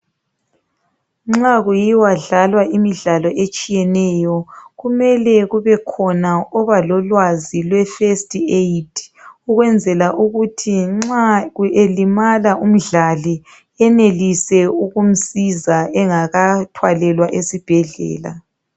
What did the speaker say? Nxa kuyiwa dlalwa imidlalo etshiyeneyo kumele kube khona obalolwazi lwefirst aid ukwenzela ukuthi nxa elimala umdlali enelise ukumsiza engakathwalelwa esibhedlela.